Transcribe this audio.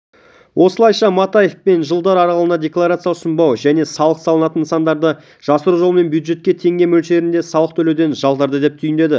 осылайша матаев мен жылдар аралығында декларация ұсынбау және салық салынатын нысандарды жасыру жолымен бюджетке теңге мөлшерінде салық төлеуден жалтарды деп түйіндеді